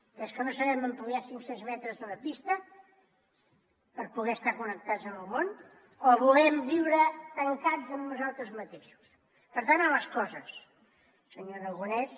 que és que no sabem ampliar cinc cents metres d’una pista per poder estar connectats amb el món o volem viure tancats en nosaltres mateixos per tant a les coses senyor aragonès